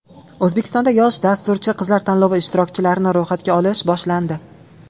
O‘zbekistonda yosh dasturchi qizlar tanlovi ishtirokchilarini ro‘yxatga olish boshlandi.